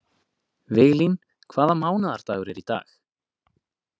Viglín, hvaða mánaðardagur er í dag?